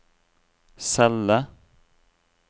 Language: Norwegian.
celle